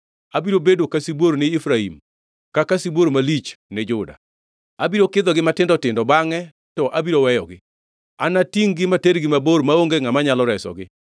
Abiro bedo ka sibuor ni Efraim, kaka sibuor malich ni Juda. Abiro kidhogi matindo tindo bangʼe to abiro weyogi. Anatingʼ-gi matergi mabor, maonge ngʼama nyalo resogi.